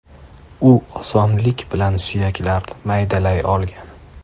U osonlik bilan suyaklarni maydalay olgan.